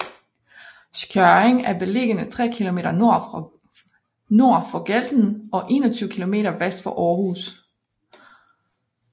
Skjørring er beliggende tre kilometer nord for Galten og 21 kilometer vest for Aarhus